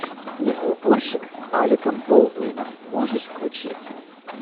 снегоуборщик с алеком болдуином можешь включить